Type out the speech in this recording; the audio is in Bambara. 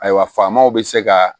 Ayiwa faamaw bɛ se ka